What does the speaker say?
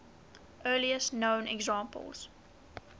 earliest known examples